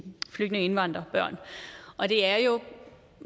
flygtninge indvandrerbørn og det er jo